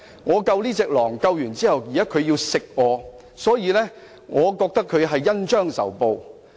我拯救了這隻狼，但牠現在想吃掉我，所以我覺得牠是恩將仇報"。